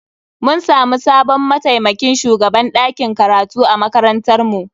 Mun samu sabon mataimakin shugaban dakin karatu a makarantar mu.